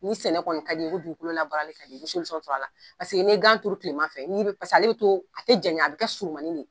Ni sɛnɛ kɔni ka di ye ko dugukolo labarali ka di ye, i bi sɔrɔ a la paseke n'i ye gan turu kilema fɛ, n'i be paseke ale bi to, a te janya, a bi kɛ surunmanin de ye.